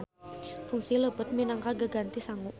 Fungsi leupeut minangka gaganti sangu.